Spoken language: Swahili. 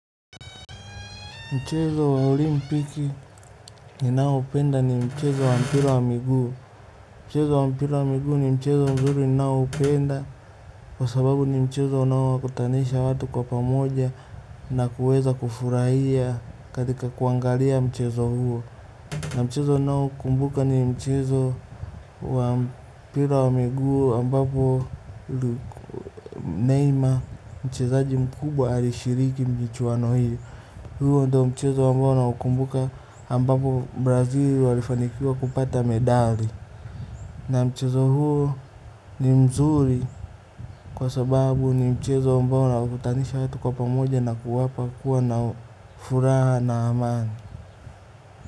Mchezo wa olimpiki ni nao penda ni mchezo wa mpira wa miguu. Mchezo wa mpira wa miguu ni mchezo mzuri ninao upenda. Kwa sababu ni mchezo unao wakutanisha watu kwa pamoja na kuweza kufurahia katika kuangalia mchezo huo. Na mchezo ninao kumbuka ni mchezo wa mpira wa miguu ambapo neima mchezaji mkubwa ali shiriki michwano hii. Huo ndo mchezo ambao na ukumbuka ambapo Brazil walifanikiwa kupata medali. Na mchezo huo ni mzuri kwa sababu ni mchezo ambao unawakutanisha watu kwa pamoja na kuwapa kuwa na furaha na amani.